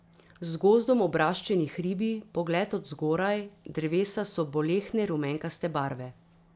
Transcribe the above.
Z gozdom obraščeni hribi, pogled od zgoraj, drevesa so bolehne rumenkaste barve.